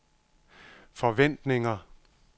forventninger